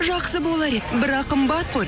жақсы болар еді бірақ қымбат қой